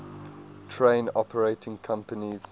train operating companies